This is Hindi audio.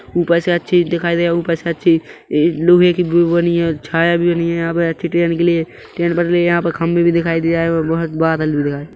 ऊपर से अच्छी दिखाई दे है ऊपर से अच्छी लोहे कि वो बनी है और छाया भी बनी है यहाँ पर अच्छी ट्रेन के लिए ट्रेन डली यहाँ पे खंभे भी दिखाई दे रहा है और बहोत बादल भी दिखाई दे --